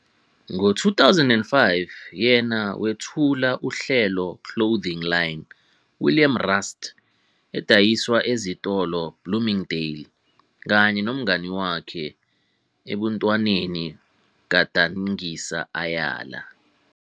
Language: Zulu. Ngo-2005 yena wethula uhlelo clothing line William Rast, edayiswa ezitolo Bloomingdale, kanye nomngani wakhe ebuntwaneni Gadangisa Ayala